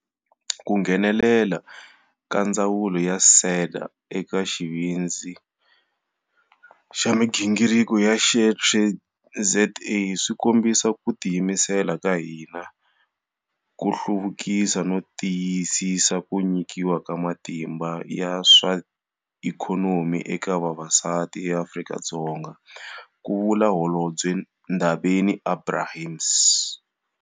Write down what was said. Ku nghenelela ka ndzawulo na SEDA eka Xivindzi xa migingiriko xa SheTradesZA swi kombisa ku tiyimisela ka hina ku hluvukisa no tiyisisa ku nyikiwa ka matimba ya swa ikhonomi eka vavasati eAfrika-Dzonga, ku vula Holobye Ndabeni-Abrahams.